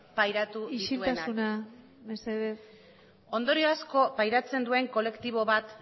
pairatu dituenak ondorio asko pairatzen duen kolektibo bat